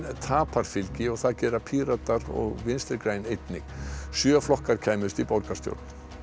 tapar fylgi og það gera Píratar og Vinstri græn einnig sjö flokkar kæmust í borgarstjórn